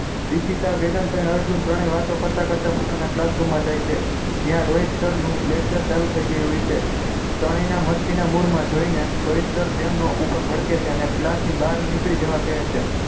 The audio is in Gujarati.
ઈશિતા વેદાંત અને અર્જુન ત્રણેય વાતો કરતા કરતા પોતાના classroom માં જાય છે જ્યાં રોહિત sir નું lecture ચાલુ થઈ ગયું હોય છે ત્રણેયના મસ્તીના મૂડ માં જોઈને રોહિત sir તેમનો ઉપર ભડકે છે અને class ની બાર નીકળી જવા કહે છે